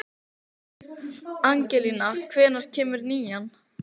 Angelíka, hvenær kemur nían?